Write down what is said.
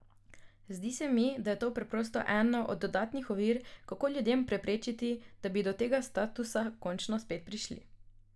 Zdi se mi, da je to preprosto ena od dodatnih ovir, kako ljudem preprečiti, da bi do tega statusa končno spet prišli.